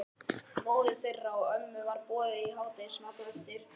Móður þeirra og ömmu var boðið í hádegismatinn á eftir.